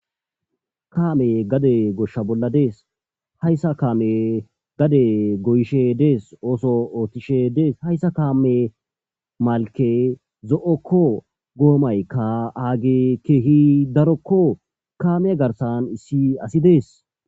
Kaame gade goshsha bolla dees hayssa kaame gade goyishe dees ooso oottishe dees hayssa kaame malke zo7okko goomaykka aage keehi darokko kaame garsan issi asi dees